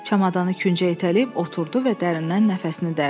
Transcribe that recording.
Çamadanı küncə itələyib oturdu və dərindən nəfəsini dərdi.